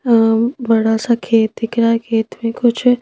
अं बड़ा सा खेत दिख रहा है खेत में कुछ--